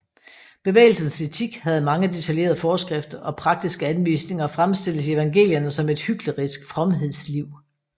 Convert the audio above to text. Bevægelsens etik havde mange detaljerede forskrifter og praktiske anvisninger og fremstilles i evangelierne som et hyklerisk fromhedsliv